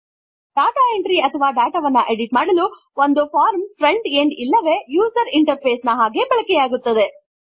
data entry ಅಥವಾ data ವನ್ನು edit ಮಾಡಲು ಒಂದು ಫಾರ್ಮ್ ಫ್ರಂಟ್ ಎಂಡ್ ಇಲ್ಲವೇ ಯುಸರ್ ಇಂಟರ್ ಫೇಸ್ ನ ಹಾಗೆ ಬಳಕೆಯಾಗುತ್ತದೆ